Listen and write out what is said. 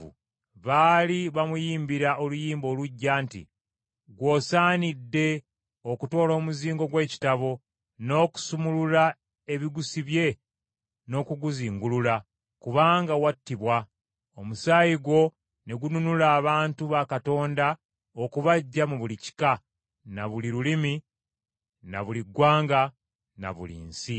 Baali bamuyimbira oluyimba oluggya nti, “Ggw’osaanidde okutoola omuzingo gw’ekitabo, n’okusumulula ebigusibye n’okuguzingulula, kubanga wattibwa, omusaayi gwo ne gununula abantu ba Katonda okubaggya mu buli kika, na buli lulimi, na buli ggwanga, na buli nsi.